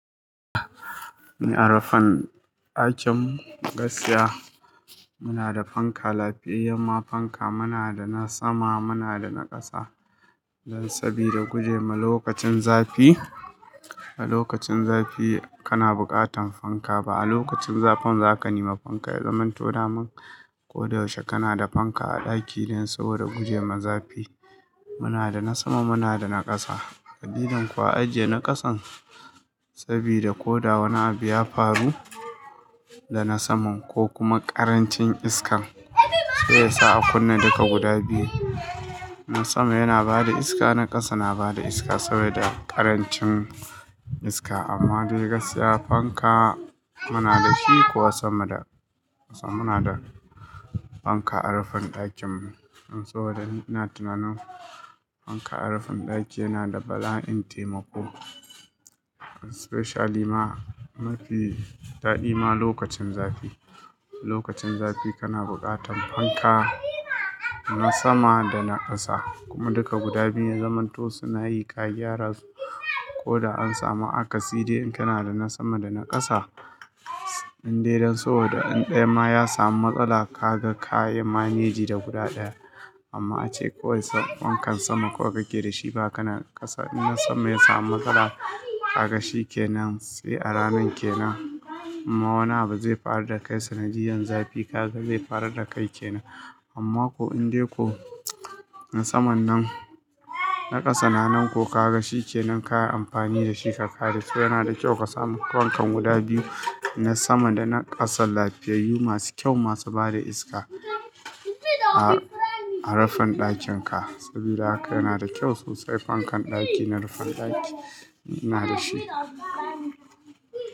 Ni a rufin ɗakin gaskiya, muna da fanka lafiyayya ma. Fanka muna da na sama, muna da na ƙasa. Dan saboda guje ma lokacin zafi. A lokacin zafi kana bukatan fanka. Ba a lokacin zafin za ka nema fanka, ya zamanto daman ko da yaushe kana da fanka a ɗaki dan so da guje ma zafi. Muna da na sama, muna da na ƙasa. Idan kuwa ajiye na kasan sabida ko da wani abu ya faru da na saman ko kuma ƙarancin iska zai sa a kunna duka guda biyu. Na sama yana bada iska, na ƙasa na bada iska saboda ƙarancin iska. Amma dai gasa fanka muna da shi kuwa sama da ƙasa muna da fanka a rufin ɗakinmu. In saboda da ina tunanin fanka a rufin ɗaki yana da bala'in taimako. Especially ma mafi daɗi ma lokacin zafi. Lokacin zafi kana bukatan fanka na sama da na ƙasa kuma duka guda biyun ya zamanto suna yi ka gyara su. Ko da an samu aka cire in kana da na sama da na ƙasa, indai dan saboda ɗaya ma ya samu matsala ka ga ka yi manage da guda ɗaya. Amma ace ko wanne fankan sama ko ka ke da shi ba kana da ƙasa, in na saman ya samu matsala ka ga shi kenan sai a ranan kenan. Amma wani abu zai fara da kai sanadiyan zafi, ka ga zai fara da kai kenan. Amma ko indai ko na saman nan, na ƙasa nan ko ka ga shi kenan ka yi amfani da shi ka kare su. Yana da kyau ka samu fankan guda biyu, na sama da na ƙasan lafiyayyu masu kyau, masu bada iska a, a rufin ɗakin ka. Sabida haka yana da kyau sosai fankan ɗaki na rufin ɗaki ina da shi.